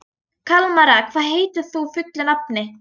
Kalmara, hvað heitir þú fullu nafni?